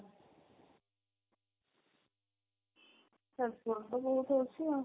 ଏଇଠି ଅଛି ଆଉ